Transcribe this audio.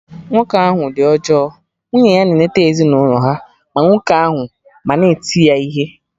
Nwoke ahụ dị ọjọọ, nwunye ya na-enete ezinụlọ ha, ma nwoke ahụ ma na eti ya ihe